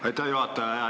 Aitäh, juhataja!